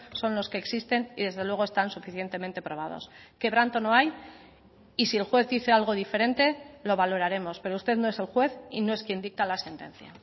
son los que existen y desde luego están suficientemente probados quebranto no hay y si el juez dice algo diferente lo valoraremos pero usted no es el juez y no es quien dicta la sentencia